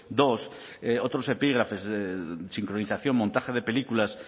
dos otros epígrafes sincronización montaje de películas